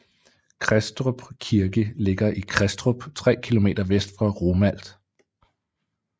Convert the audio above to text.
Kristrup Kirke ligger i Kristrup 3 km vest for Romalt